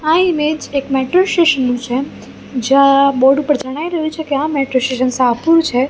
આ ઇમેજ એક metro station નુ છે જ્યાં બોર્ડ ઉપર જણાઈ રહ્યું છે કે આ મેટ્રો સ્ટેશન શાહપુર છે.